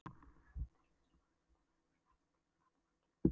Erfiðustu málin sem upp komu voru erfðadeilur og landamerkjadeilur.